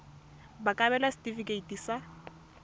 ba ka abelwa setefikeiti sa